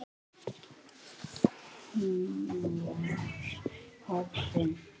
Hún var horfin.